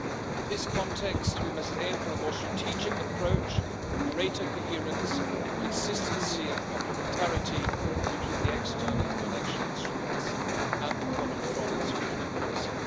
In this context, we must aim for a more strategic approach and greater coherence, consistency and complementarity between the external financial instruments and the common foreign and security policy.